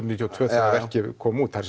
níutíu og tvö þegar verkið kom út það